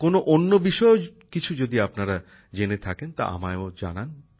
কোন অন্য বিষয়েও কিছু যদি আপনারা জেনে থাকেন তা আমায়ও জানান